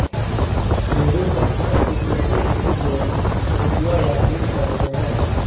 हिंदू पंचांग की तीसरी तिथि को तृतीया या तीज कहते हैं